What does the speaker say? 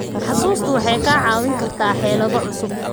Xusuustu waxay kaa caawin kartaa xeelado cusub.